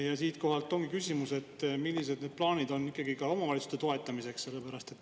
Ja siit ongi küsimus: millised plaanid teil on ikkagi omavalitsuste toetamiseks?